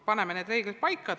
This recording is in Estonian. Paneme need reeglid paika!